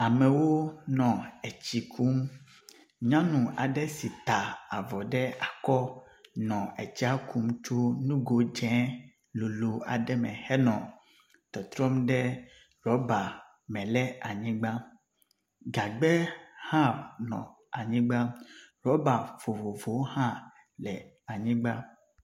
Amewo nɔ etsi kum. Nyɔnu aɖe si ta avɔ ɖe akɔ nɔ etsia kum tso nugo dze lolo aɖe me henɔ tɔtrɔm ɖe ɖɔba me le anyigba. Gagbe hã nɔ anyigba. Ɖɔba vovovowo hã le anyigba.